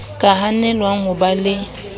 ka hanelwang ho ba le